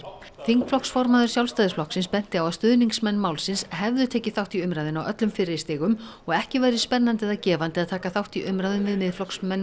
þingflokksformaður Sjálfstæðisflokks benti á að stuðningsmenn málsins hefðu tekið þátt í umræðunni á öllum fyrri stigum og ekki væri spennandi eða gefandi að taka þátt í umræðum við Miðflokksmenn